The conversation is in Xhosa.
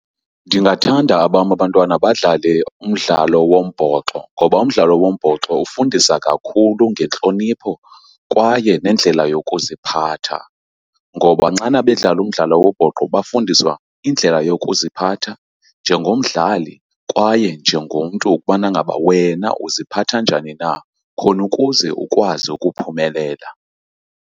Ndingathanda abam abantwana badlale umdlalo wombhoxo ngoba umdlalo wombhoxo ufundisa kakhulu ngentlonipho kwaye nendlela yokuziphatha. Ngoba nxana bedlala umdlalo wombhoxo bafundiswa indlela yokuziphatha njengomdlali kwaye njengomntu, ukubana ngaba wena uziphatha njani na khona ukuze ukwazi ukuphumelela.